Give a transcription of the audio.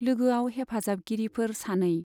लोगोआव हेफाजाबगिरिफोर सानै।